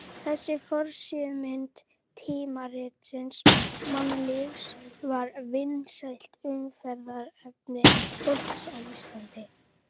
Þessi forsíðumynd tímaritsins Mannlífs var vinsælt umræðuefni fólks á Íslandi.